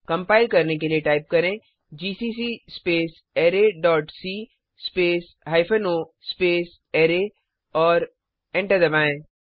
compile के लिए type करें GCC space array dot C space hyphen O space array और एंटर दबाएं